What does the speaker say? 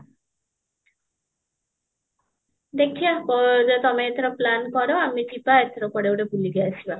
ଦେଖିବା ଯୋ ତମେ ଏଥର plan କର ଆମେ ଯିବା ଏଥର କୁଆଡେ ଗୋଟେ ବୁଲିକି ଆସିବା